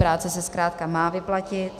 Práce se zkrátka má vyplatit.